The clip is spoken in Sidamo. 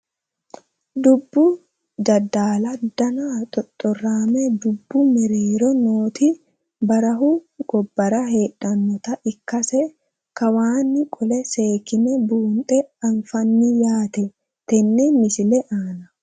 Dubbu jeedaalla danna xoxoraamme dubbu mereerro nootti barahu gobbara heedhannotta ikkasse kawaanni qolle seekkinne buunxe aniffanni yaatte tenne misile aanna